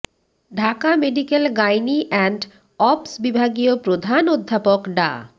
Dhaka medical gynae and obs বিভাগীয় প্রধান অধ্যাপক ডা